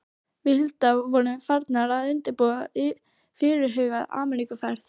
Við Hulda vorum farnar að undirbúa fyrirhugaða Ameríkuferð.